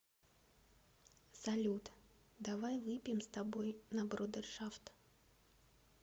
салют давай выпьем с тобой на брудершафт